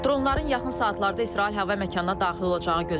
Dronların yaxın saatlarda İsrail hava məkanına daxil olacağı gözlənilir.